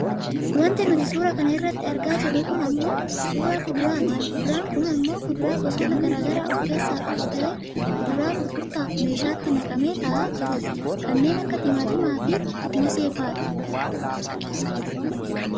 Wanti nuti suuraa kanarratti argaa jirru kun ammoo suuraa kuduraati kuduraan kun ammoo kuduraa gosoota gara garaa of keessaa qabu ta'ee kuduraa gurgurtaaf meeshaatti naqamee taa'aa jirudha. Kanneen akka timaatimaafi mooseefadha.